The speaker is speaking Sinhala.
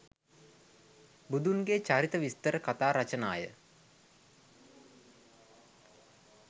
බුදුන්ගේ චරිත විස්තර කථා රචනාය.